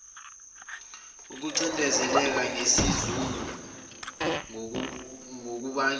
ukucindezeleka nesizungu kungakubangela